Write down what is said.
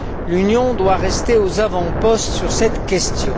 L'Union doit rester aux avant postes sur cette question.